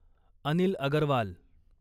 Anil Agarwal